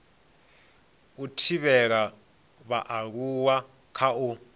u thivhela vhaaluwa kha u